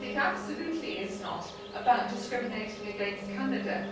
is absolutely not about discriminating against Canada.